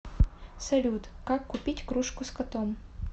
салют как купить кружку с котом